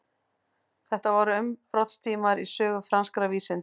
þetta voru umbrotatímar í sögu franskra vísinda